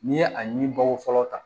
N'i ye a ɲini balo fɔlɔ ta